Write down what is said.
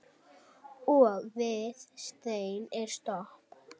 Og við stein er stopp.